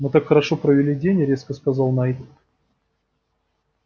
мы так хорошо провели день резко сказал найд